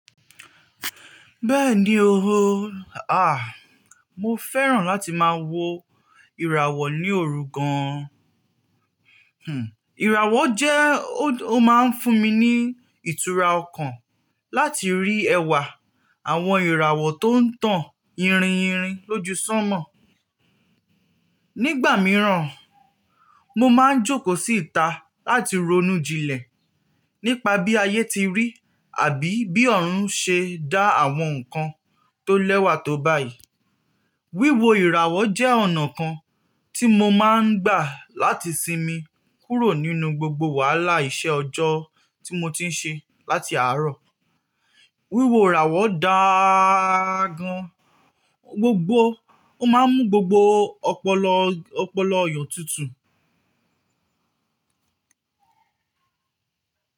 Bẹ́ẹ̀ni o. Ah, mo fẹ́ràn láti máa wo ìràwọ̀ ní òru gan. Hmm, ìràwọ̀ jẹ́ ó máa ń fún mi ní ìtura ọkàn láti rí ẹwà àwọn ìràwọ̀ tó ń tàn yirinyirin lójúṣánmọ̀. Nígbà mìíràn, mo máa ń jókòó sí ìta láti ronú jinlẹ̀ nípa bí ayé ti rí àbí bí ọ̀run ṣe dá àwọn nǹkan tó lẹ́wà tó báyìí. Wíwo ìràwọ̀ jẹ́ ọ̀nà kan tí mo máa ń gbà láti sinmi kúrò nínú gbogbo wàhálà iṣẹ́ ọjọ́ tí mo ti ń ṣe láti àárọ̀. Wíwo ìràwọ̀ dà gan, gbogbo ó máa ń mú gbogbo ọpọlọ, ọpọlọ eyàn tútù.